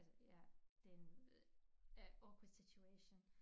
Altså ja det en ja awkward situation